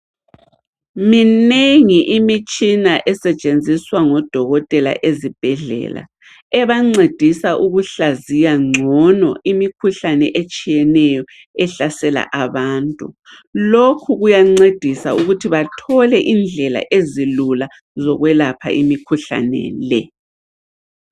Minengi imitshina esetshenziswa ngodokotela ezibhedlela, ebancedisa ukuhlaziya ngcono imikhuhlane etshiyeneyo ehlasela abantu. Lokhu kuyancedisa ukuthi bathole indlela ezilula zokwelapha imikhuhlale le.